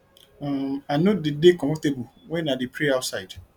um i no dey dey comfortable wen i dey pray outside